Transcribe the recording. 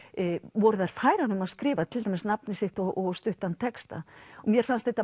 voru þær færar um að skrifa til dæmis nafnið sitt og stuttan texta mér fannst þetta